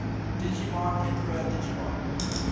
digimon emperor digimon